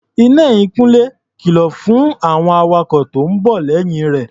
Iná ẹ̀yìn Kúnlé kìlọ̀ fún àwọn awakọ̀ tó ń bọ̀ lẹ́yìn rẹ̀.